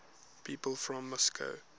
people from moscow